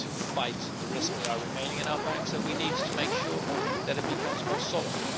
We need to fight the risks that are remaining in our banks and we need to make sure that it becomes more solid.